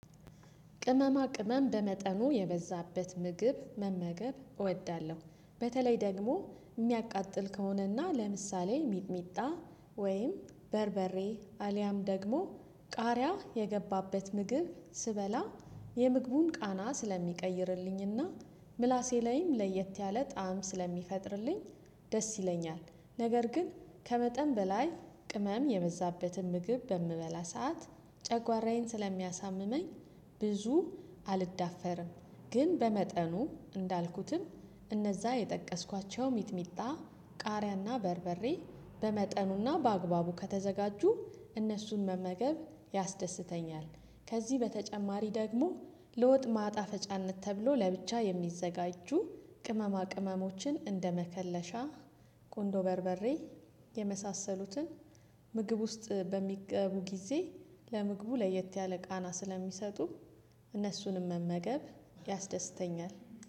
ቅመማ ቅመም በመጠኑ የበዛበት ምግብ መመገብ እወዳለሁ በተለይ ደግሞ የሚያቃጥል ከሆነና ለምሳሌ ሚጥሚጣ ወይም በርበሬ አልያም ደግሞ ቃሪያ የገባበት ምግብ ስበላ የምግቡን ቃና ስለሚቀይርልኝና ምላሴ ላይም ለየት ያለ ጣዕም ስለሚፈጥርልኝ ደስ ይለኛል። ነገር ግን ከመጠን በላይ ቅመም የበዛበትን ምግብ በምበላ ሰዓት ጨጓራዬን ስለሚያሳምመኝ ብዙ አልዳፈርም ግን በመጠኑ እንዳልኩትም እነዛ የጠቀስኳቸው ሚትሚጣ ቃሪያና በርበሬ በመጠኑና በአግባቡ ከተዘጋጁ እነሱን መመገብ ያስደስተኛል። ከዚህ በተጨማሪ ደግሞ ለወጥ ማጣፈጫነት ተብሎ ለብቻ የሚዘጋጁ ቅመማ ቅመሞችን እንደመከለሻ ቆንዶ በርበሬ የመሳሰሉትን ምግብ ውስጥ በሚገቡ ጊዜ ለምግቡ ለየት ያለ ቃና ስለሚሰጡ እነሱንም መመገብ ያስደስተኛል